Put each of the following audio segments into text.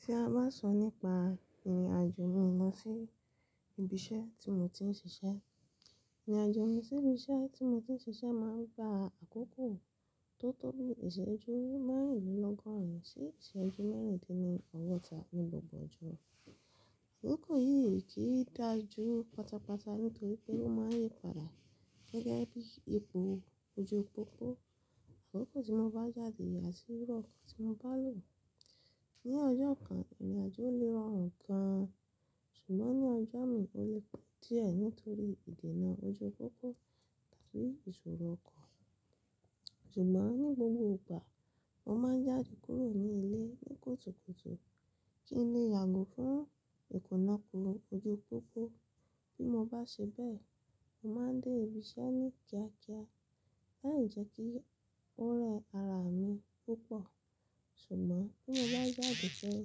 Tí a bá sọ nípa ìrìnàjò mi lọ sí ibi iṣẹ́ tí mo ti ń ṣiṣẹ́. Ìrìnàjò mi sí ibi iṣẹ́ tí mo ti ń ṣiṣẹ́ máa ń gba àkókò tó tóbi, ìṣẹ́jú márùn-ún lọ́gọ́rùn ún sí ìṣẹ́jú mẹ́rìndínlógọ́ta ní gbogbo ọjọ́. Àkókò yìí kì í dà ju pátápátá nítorí pé ó máa ń yí padà gẹ́gẹ́ bí ipò ojú pópó. Àkókò tí mo bá jáde àti irú ọkọ̀ tí mo bá lò. Ni ọjọ́ kan, ìrìnàjò lè ràn gan-an ṣùgbọ́n ní ọjọ́ mi ó lè pọ̀ díẹ̀ nítorí ìdènà ojú pópó tàbí ìṣòro ọkọ̀. Ṣùgbọ́n ní gbogbo ìgbà mo máa ń jáde kúrò ní ilé ní kùtùkùtù kí n lè yàgò fún ìkùnakùn ojú pópó. Bí mo bá ṣe bẹ́ẹ̀, mo máa dé ibi iṣẹ́ ní kíákíá, láì jẹ́ kí ó rẹ ara mi púpọ̀. Ṣùgbọ́n bí mo bá jáde pẹ̀lú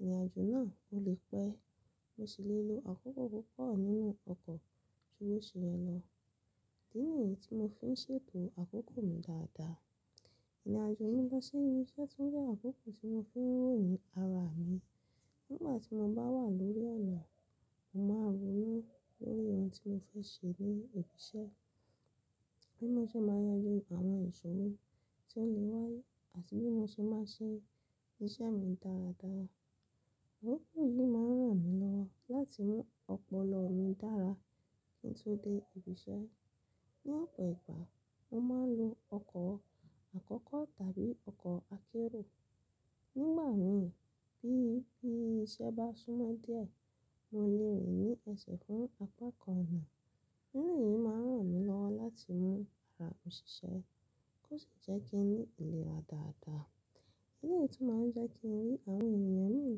ìrìnàjò náà, o lè pẹ́. Mo sì lè lo àkókò púpọ̀ nínú ọkọ̀ tí ó ṣe ẹ lọ. Idí ni èyí tí mo fi ń ṣètò àkókò mi dáadáa. Ìrìnàjò mi lọ sí ibi iṣẹ́ tún jẹ́ àkókò tí mo fi ń ròyìn ara mi. Nígbà tí mo bá wà lórí ọ̀nà, mo máa ronú lórí ohun tí mo fẹ́ ṣe ní ibi iṣẹ́, bí mo ṣe máa yanjú àwọn ìṣòro tí ó lè wáyé àti bí mo ṣe máa ṣe iṣẹ́ mi dáradára. Akókó yìí máa ń ràn mí lọ́wọ́ láti mú ọpọlọ mi dára kí n tó dé ibi iṣẹ́. Ni ọ̀pọ̀ ìgbà mo máa ń lo ọkọ̀ àkọ́kọ́ tàbí ọkọ̀ akérò. Nígbà mìíràn bí iṣẹ́ bá súnmọ́ díẹ̀, mo lè rìn ní ẹsẹ̀ fún apá kan ọ̀nà. Ẹ̀rọ yìí máa ń ràn mí lọ́wọ́ láti mú ara mi ṣiṣẹ́ kó sì jẹ́ kí n ní ìlera dáadáa. Ilé yìí tún máa ń jẹ́ kí n rí àwọn ènìyàn mìíràn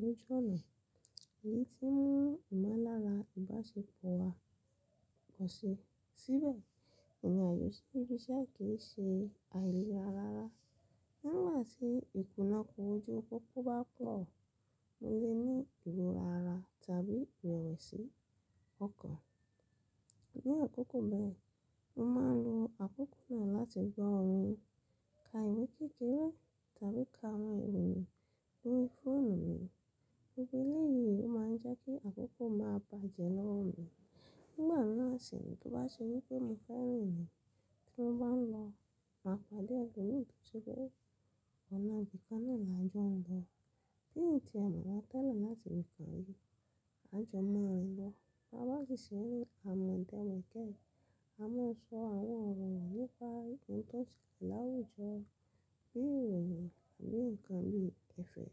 lójú ọ̀nà èyí tí ń mú ìmọ̀lára ìbáṣepọ̀ wá kọ́ṣe síbẹ̀. Ìrìnàjò sí ibi iṣẹ́ àì kí í ṣe àìlera rárá. Nígbà tí ìkùnakùn ojú pópó bá pọ̀, mo lè ní ìró rárá tàbí ìrẹ̀wẹ̀sì ọkàn. Ni àkókò bẹ́ẹ̀, mo máa ń lo àkókò náà láti gbọ́ orin, ka ìwé kékeré tàbí ka àwọn ìròyìn lórí fóònù mi. Gbogbó élé yìí máa ń jẹ́ kí àkókò máa bàjẹ́ lọ́wọ́ mi. Nígbà náà sì ni tó bá ṣe wípé mi fẹ́ rìn ni tí mo bá ń lọ, màá padà lórí ètò tí ó ọ̀nà bí i kan náà lajọ́ ń lọ. Bí i nǹkan tí ẹ̀mi máa tẹ̀lé láti fi kàn ìrìnàjò máa rìn lọ. A bá sì ṣe àmọ̀ǹtẹ́wẹ̀ gẹ́gẹ́, a máa sọ àwọn ọ̀rọ̀ nípá ohun tó ti kà láwùjọ, bí i ìròyìn àbí nǹkan bí i ẹ̀fẹ̀.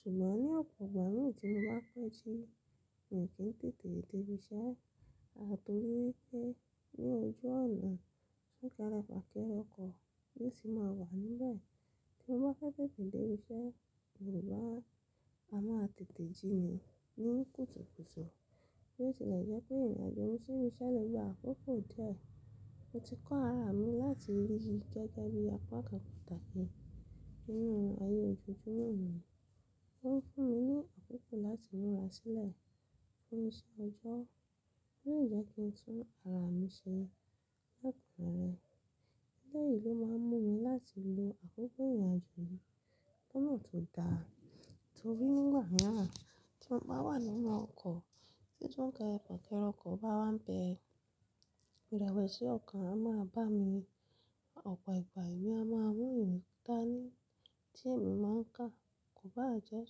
Ṣùgbọ́n ní ọ̀pọ̀ ìgbà mìíràn tí mo bá pẹ́ jí, mi ò kí ń tètè dé ibi iṣẹ́ àtorí wípé ní ojú ọ̀nà, súnkẹrẹ fàkẹrẹ ọkọ̀ yóò sì máa wà níbẹ̀. Bí mo bá fẹ́ tètè dé ibi iṣẹ́, mo máa ń-- a máa tètè jí mi ní kùtùkùtù. Èyí sì lè jẹ́ pé ìrìnàjò mi sí ibi iṣẹ́ lè gba àkókò díẹ̀. Mo ti kọ́ ara mi láti yí gẹ́gẹ́ bí apá kan pàtàkì nínú ayé ojoojúmọ́ mi. Ó ń fún mi ní àkókò láti múra sílẹ̀ fún iṣẹ́ ọjọ́, kó jẹ́ kí n tún ara mi ṣe lẹ́kùnù rẹ̀. Ilé yìí ló máa ń mú mi láti lo àkókò ìrìnàjò mi pọ́nù tó dáa torí nígbà mìíràn tí mo bá wà nínú ọkọ̀ tí súnkẹrẹ fàkẹrẹ ọkọ̀ bá wá ń bẹ̀ ẹ́, ìrẹ̀wẹ̀sì ọkàn a máa bá mi. Ọ̀pọ̀ ìgbà èmi a máa mú ìwé kan tí èmi máa ń kà, kò bá jẹ́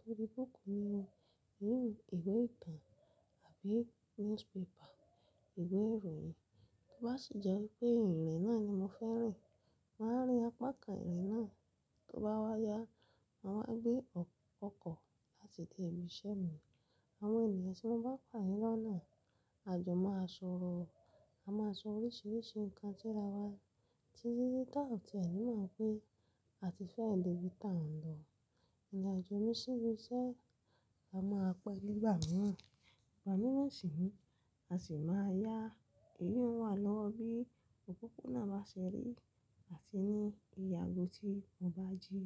torí búùkù mi wù, ìwé ìtàn àbí newspaper, ìwé ìròyìn. Tó bá sì jẹ́ wípé ìwé rẹ̀ náà ni mo fẹ́ rìn, màá rìn apá kan ìrìn náà tó bá wá yá, màá wá gbé ọkọ̀ láti dé ibi iṣẹ́ mi. Àwọn ènìyàn tí wọ́n bá pàdé lọ́nà, a jọ máa sọ̀rọ̀. A máa sọ oríṣiríṣi nǹkan tí ara wa ti rí táǹ tí ẹ̀ ni máa ń pé a ti fẹ́ lèrí táǹ lọ. Ìrìnàjò mi sí ibi iṣẹ́ la máa pẹ́ nígbà mìíràn. Ìgbà mìíràn sì ni a sì máa yá eyùn wà lọ́wọ́ bí ìpópóná bá ṣe rí àti ní ìye àgó tí mo bá jí.